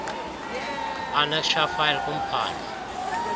annexure file kumphandle